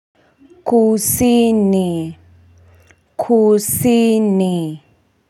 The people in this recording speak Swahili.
Kusini kusini.